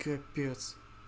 капец